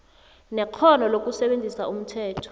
nekghono lokusebenzisa umthetho